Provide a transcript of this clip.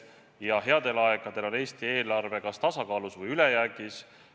Ja headel aegadel on Eesti eelarve olnud kas tasakaalus või ülejäägis.